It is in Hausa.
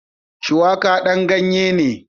Shuwaƙa ɗan ganye ne